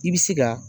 I bɛ se ka